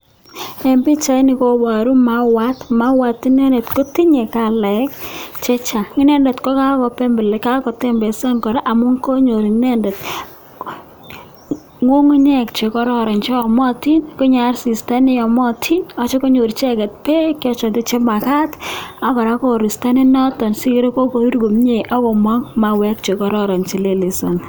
En pichaini koboru mauat, mauat inendet kotinye kalait chechang, inendet ko kakotembesan kora amun konyor inendet ng'ung'unyek chekororon cheyomotin konyor asista neyomotin akityo konyor icheket beek choton chemakat ak kora koristo nenoton sikere kokorur komie ak komong mauek chekororon chelelesoni.